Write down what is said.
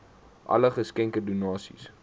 alle geskenke donasies